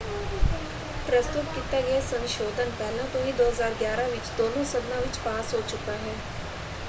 ਪ੍ਰਸਤੁਤ ਕੀਤਾ ਗਿਆ ਸੰਸ਼ੋਧਨ ਪਹਿਲਾਂ ਤੋਂ ਹੀ 2011 ਵਿੱਚ ਦੋਨੋਂ ਸਦਨਾਂ ਵਿੱਚ ਪਾਸ ਹੋ ਚੁੱਕਾ ਹੈ।